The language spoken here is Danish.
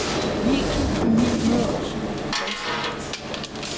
ni tusind ni hundrede og syvoghalvtreds